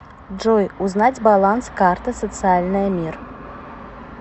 джой узнать баланс карты социальная мир